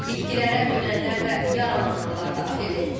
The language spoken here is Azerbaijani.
İtkilərə ölənlər və yaralananlar daxildir.